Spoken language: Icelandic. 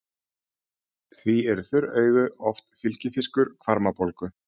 Því eru þurr augu oft fylgifiskur hvarmabólgu.